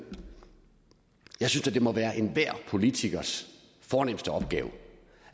jeg synes det må være enhver politikers fornemste opgave